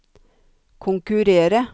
konkurrere